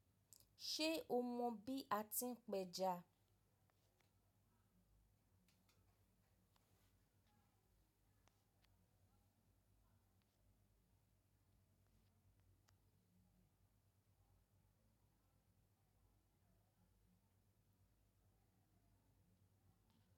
Ṣe o mọ bi a ti n pẹja?